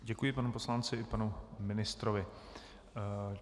Děkuji panu poslanci i panu ministrovi.